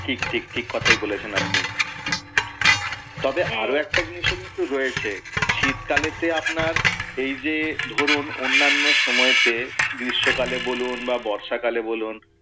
ঠিক ঠিক, ঠিক কথাই বলেছেন আপনি। তবে হ্যাঁ আরও একটা জিনিসও কিন্তু রয়েছে শীতকালেতে আপনার এই যে ধরুন অন্যান্য সময়তে, গ্রীষ্মকালে বলুন বা বর্ষাকালে বলুন,